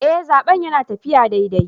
Eh, zaben yana taffiya daidai.